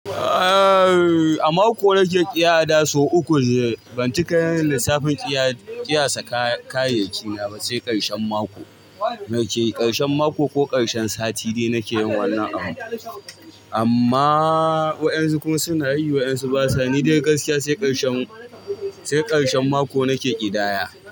Aaa a mako nake iya ada sau uku, ban ci kayin lissafin ƙiyasa kayayyaki na ba sai ƙarshen mako. Nake ƙarshen mako ko ƙarshen sati dai nake yin wannan abun. Amma wa'yansu kuma sunayi, wa'yansu basa. Ni dai gaskiya sai ƙarshen, sai ƙarshen mako nake ƙidaya.